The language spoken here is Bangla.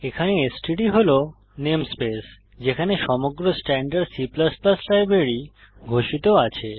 এখানে এসটিডি হল নেমস্পেস যেখানে সমগ্র স্ট্যান্ডার্ড C লাইব্রেরি ঘোষিত আছে